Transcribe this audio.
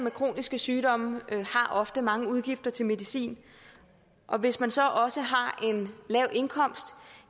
med kroniske sygdomme har ofte mange udgifter til medicin og hvis man så også har en lav indkomst